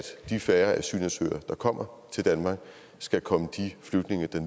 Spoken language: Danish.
de færre asylansøgere der kommer til danmark skal komme de flygtninge der